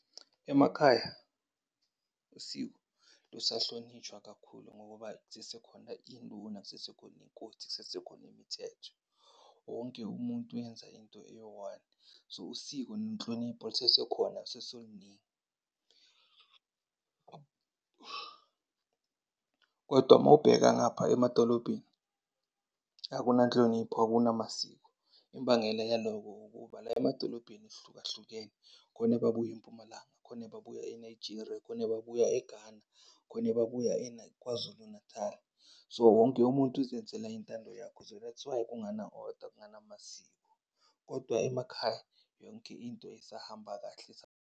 Emakhaya usiko lusahlonitshwa kakhulu ngoba zisesekhona iy'nduna, zisesekhona iy'nkosi, kusesekhona imithetho, wonke umuntu wenza into eyi-one. So, usiko nenhlonipho lusesekhona lusesoluningi. Kodwa mawubheka ngapha emadolobheni akunanhlonipho, akunamasiko. Imbangela yaloko ukuba la emadolobheni sihlukahlukene khona babuye eMpumalanga, khona ebabuya eNigeria, khona ebabuya eGhana, khona ebabuya eKwaZulu Natal. So, wonke umuntu uzenzela intando yakho. So that's why kungena-order kungenamasiko. Kodwa emakhaya yonke into isahamba kahle, .